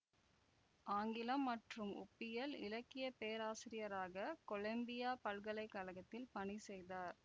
ஆங்கிலம் மற்றும் ஒப்பியல் இலக்கிய பேராசிரியராக கொலம்பியா பல்கலை கழகத்தில் பணி செய்தார்